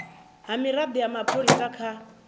ha mirado ya mapholisa kha